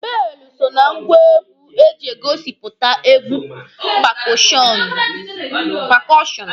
Beelụ so na ngwa egwu eji egosipụta egwu pakọọshọnụ.